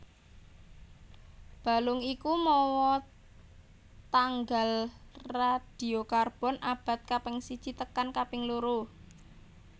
Balung iku mawa tanggal radiokarbon abad kaping siji tekan kaping loro